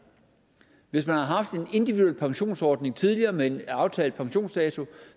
hvis man har haft en individuel pensionsordning tidligere med en aftalt pensionsdato